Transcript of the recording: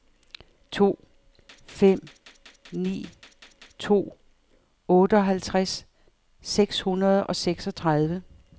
to fem ni to otteoghalvtreds seks hundrede og seksogtredive